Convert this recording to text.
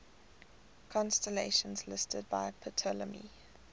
constellations listed by ptolemy